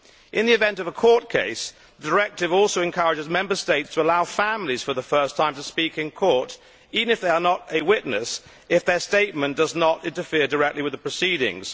In the event of a court case, the directive also encourages Member States to allow families for the first time to speak in court, even if they are not a witness, if their statement does not interfere directly with the proceedings.